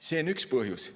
See on üks põhjus.